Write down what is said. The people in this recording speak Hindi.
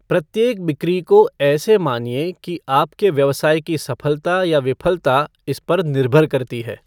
प्रत्येक बिक्री को ऐसे मानिए की आपके व्यवसाय की सफलता या विफलता इस पर निर्भर करती है।